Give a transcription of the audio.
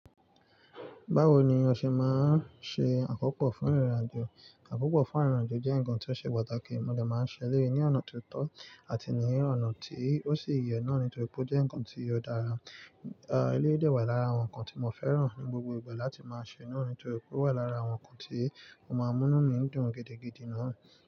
Báwo ni oṣẹ́ máa ń ṣe àkópọ̀ fún ìrìn-àjò? Àkópọ̀ fún ìrìn-àjò jẹ́ ǹkan tí ó ṣe pàtàkì, mo dà máa ń ṣẹlẹ̀ ní ọ̀nà tó tọ́ àti ní ọ̀nà tí ó sì yẹ náà nítorí pé ó jẹ́ ǹkan tí ó dára. Ah, ilé dẹ̀ wà lára àwọn ǹkan tí mo fẹ́ràn ní gbogbo ìgbà láti máa ṣe nù nítorí pé ó wà lára àwọn ǹkan tí mo máa ń mú mí dùn gidi gidí náà.